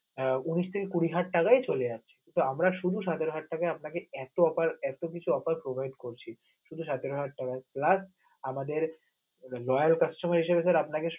আহ উনিশ থেকে কড়ি হাজার টাকাই চলেযাচ্ছে, তো আমরা শুধু সতেরো হাজার টাকাই আপনাকে এত offer এত কিছু offer provide করছি, শুধু সতেরো হাজার টাকাই plus আমাদের royal customer হিসেবে sir আপনাকে.